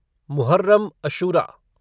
Muharram Ashura